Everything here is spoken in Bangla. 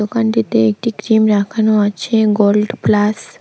দোকানটিতে একটি ক্রিম রাখানো আছে গোল্ড প্লাস ।